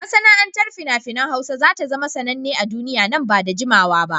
Masana'antar fina-finan Hausa za ta zama sananne a duniya nan ba da jimawa ba.